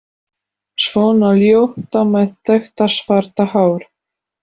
Svona ljóta með þetta svarta hár.